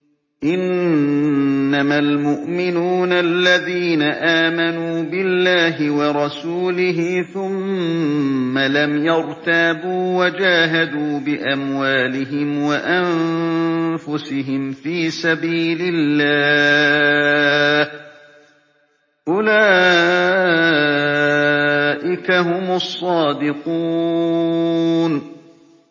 إِنَّمَا الْمُؤْمِنُونَ الَّذِينَ آمَنُوا بِاللَّهِ وَرَسُولِهِ ثُمَّ لَمْ يَرْتَابُوا وَجَاهَدُوا بِأَمْوَالِهِمْ وَأَنفُسِهِمْ فِي سَبِيلِ اللَّهِ ۚ أُولَٰئِكَ هُمُ الصَّادِقُونَ